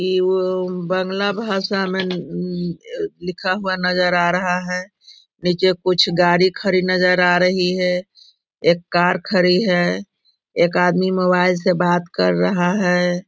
ये वो बंगला भाषा में लिखा हुआ नजर आ रहा है। नीचे कुछ गाड़ी खड़ी नजर आ रही है। एक कार खड़ी है। एक आदमी मोबाइल से बात कर रहा है।